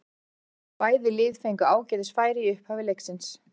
Bæði lið fengu ágætis færi í upphafi leiksins.